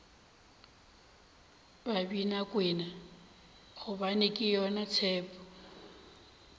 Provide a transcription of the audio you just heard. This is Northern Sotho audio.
babinakwena gobane ke yona tshepo